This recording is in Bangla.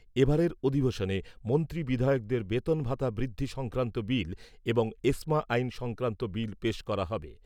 এবারের অধিবেশনে মন্ত্রী বিধায়কদের বেতন ভাতা বৃদ্ধি সংক্রান্ত বিল এবং এসমা আইন সংক্রান্ত বিল পেশ করা হবে।